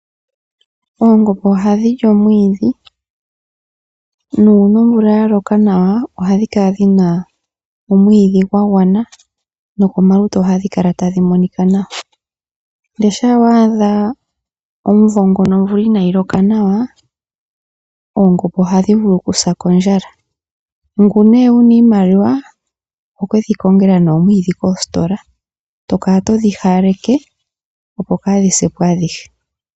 Oongombe ohadhi li omwiidhi nuuna omvula ya loka nawa ohadhi kala dhi na omwiidhi gwa gwana nawa nokomalutu ohadhi kala tadhi monika nawa, ihe shampa wa adha omuvo ngoka omvula inayi loka nawa oongombe ohadhi vulu okusa kondjala. Ngoka wu na iimaliwa oho ke dhi kongela omwiidhi koositola e to kala todhi hawaleke, opo kaadhi se po adhihe.